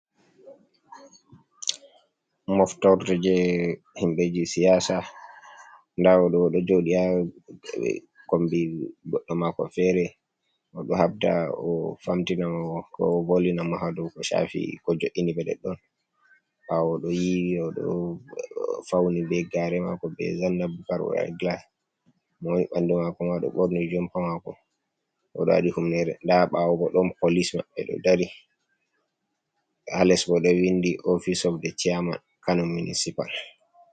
Moftorde je himɓɓe je siyasa, nda oɗo, oɗo joɗi ha kombi goɗɗo mako fere, oɗo habda o famtina ko volina mo ha dou ko shafi ko jo'iniɓe ɗoɗɗon, ɓawo oɗo yiwi oɗo fauni be gare mako je zanna bukar owaɗi glas, mo woni ɓanɗu mako ma ɗo ɓorni jumpa mako oɗo waɗi humnere, nda ɓawo bo ɗon polis maɓɓe ɗo dari, ha les bo ɗo vindi ofice of the cherman kano municipal.